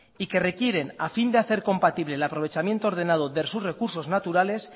y que requieren a fin de hacer compatible el aprovechamiento ordenado de sus recursos naturales